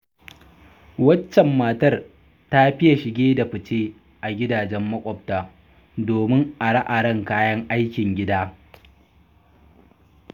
Waccan matar ta fiya shige-da- fice a gidajen maƙwabta, domin are-aren kayan aikin gida.